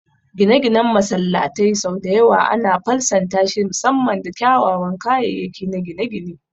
Gine-ginen masallatai sau da yawa ana fasaltashi musamman da kyawawan kayayyaki na gine-gine.